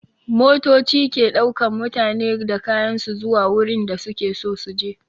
Motoci ke ɗaukan mutane da kayan su zuwa wurin da su ke so su je.